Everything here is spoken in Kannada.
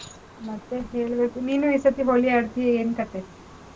ಮತ್ತೆ ಹೇಳ್ಬೇಕು. ನೀನೂ ಈ ಸರ್ತಿ ಹೋಳಿ ಆಡ್ತೀಯಾ, ಏನ್ ಕತೆ?